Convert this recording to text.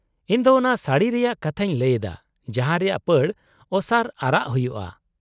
-ᱤᱧ ᱫᱚ ᱚᱱᱟ ᱥᱟᱹᱲᱤ ᱨᱮᱭᱟᱜ ᱠᱟᱛᱷᱟᱧ ᱞᱟᱹᱭ ᱮᱫᱟ ᱡᱟᱦᱟᱸ ᱨᱮᱭᱟᱜ ᱯᱟᱹᱲ ᱚᱥᱟᱨ ᱟᱨᱟᱜ ᱦᱩᱭᱩᱜᱼᱢᱟ ᱾